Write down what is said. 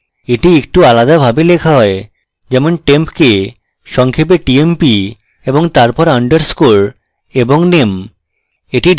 এটি একটু আলাদাভাবে লেখা হয় যেমন temp সংক্ষেপে tmp এবং তারপর underscore এবং name